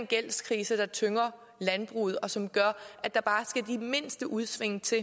gældskrise der tynger landbruget og som gør at der bare skal de mindste udsving til